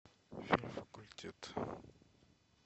фильм факультет